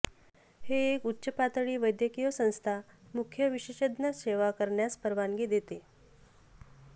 हे एक उच्च पातळी वैद्यकीय संस्था मुख्य विशेषज्ञ सेवा करण्यास परवानगी देते